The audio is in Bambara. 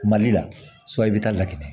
Mali la i bɛ taa lakana